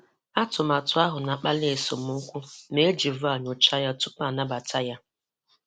Atụmatụ ahụ na-akpali esemokwu ma e ji VAR nyochaa ya tupu anabata ya.